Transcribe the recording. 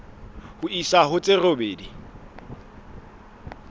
ho isa ho tse robedi